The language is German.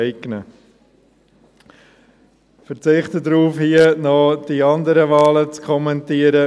Ich verzichte darauf, hier noch die anderen Wahlen zu kommentieren.